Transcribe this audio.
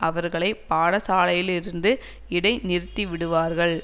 அவர்களை பாடசாலைலிருந்து இடை நிறுத்திவிடுவார்கள்